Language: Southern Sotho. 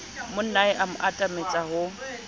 monnae a mo atametsa ho